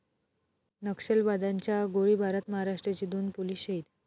नक्षलवाद्यांच्या गोळीबारात महाराष्ट्राचे दोन पोलीस शहीद